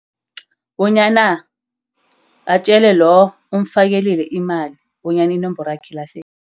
Bonyana atjele lo omfakelile imali bonyana inomborwakhe ilahlekile.